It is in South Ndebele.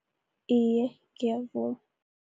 Iye, ngiyavuma.